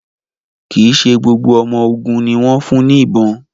Kí ṣe gbogbo ọmọ ògún ní wón fún ní ìbọn